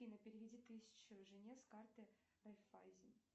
афина переведи тысячу жене с карты райффайзее